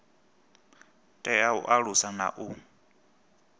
tea u alusa na u